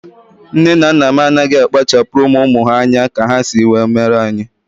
Nne na nna m anaghị akpachapuru ụmụ ụmụ ha anya ka ha si were mee anyị